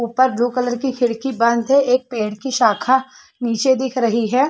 ऊपर blue colour की खिड़की बंद है एक पेड़ की शाखा नीचे दिख रही है।